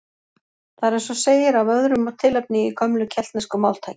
Það er eins og segir af öðru tilefni í gömlu keltnesku máltæki